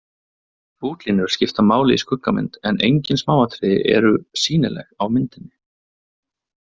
Útlínur skipta máli í skuggamynd en engin smáatriði eru sýnileg á myndinni.